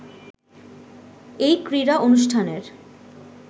এই ক্রীড়া অনুষ্ঠানের